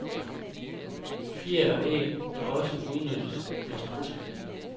Fjer og æg kan også udnyttes fra strudse.